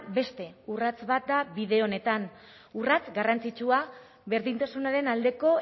beste urrats bat da bide honetan urrats garrantzitsua berdintasunaren aldeko